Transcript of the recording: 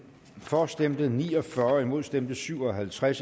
for stemte ni og fyrre imod stemte syv og halvtreds